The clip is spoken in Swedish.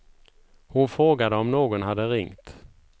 Hon frågade om någon hade ringt.